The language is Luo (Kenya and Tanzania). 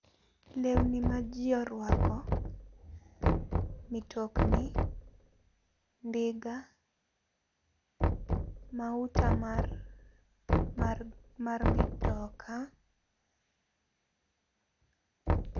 Lewni ma jii orwako, mitokni, ndiga, mauta mar, mar mitoka